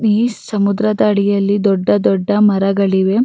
ಈ ಸಮುದ್ರದ ಅಡಿಯಲ್ಲಿ ದೊಡ್ಡ ದೊಡ್ಡ ಮರಗಳಿವೆ.